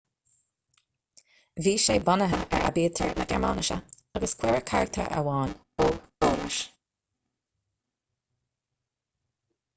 bhí sé bunaithe ar aibítir na gearmáinise agus cuireadh carachtar amháin õ/õ leis